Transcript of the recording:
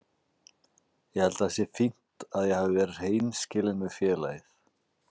Ég held að það sé fínt að ég hafi verið hreinskilinn við félagið.